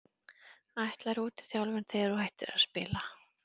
Ætlarðu út í þjálfun þegar að þú hættir að spila?